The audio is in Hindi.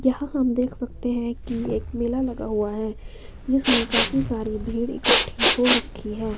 यहां हम देख सकते हैं कि एक मेला लगा हुआ है जिसमें काफी सारी भीड़ इकट्ठी हो रखी है।